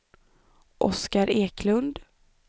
Oscar Eklund